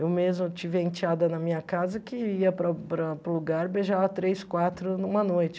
Eu mesma tive a enteada na minha casa que ia para para para o lugar e beijava três, quatro numa noite.